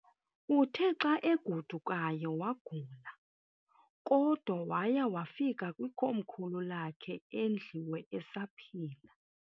Uthe xa agodukayo wagula, kodwa waya wafika kwikomkhulu lakhe eNðliwe esaphila.